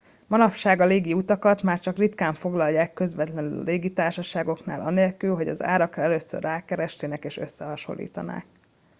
manapság a légi utakat már csak ritkán foglalják közvetlenül a légitársaságoknál anélkül hogy az árakra először rákeresnének és összehasonlítanák